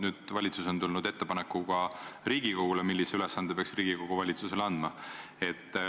Nüüd on valitsus tulnud ettepanekuga Riigikogule, et millise ülesande peaks Riigikogu valitsusele andma.